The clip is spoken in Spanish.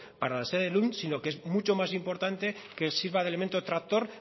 para la sede lund sino que es mucho más importante que sirva de elemento tractor